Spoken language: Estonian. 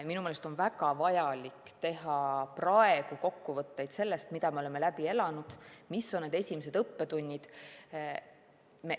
Minu meelest on väga vajalik teha praegu kokkuvõtteid sellest, mida me oleme läbi elanud ja mis on esimesed õppetunnid.